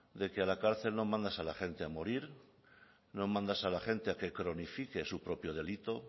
de que a la cárcel no mandas a la gente a morir no mandas a la gente a que cronifique su propio delito